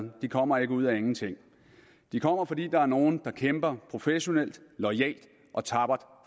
kommer ikke ud af ingenting de kommer fordi der er nogle der kæmper professionelt loyalt og tappert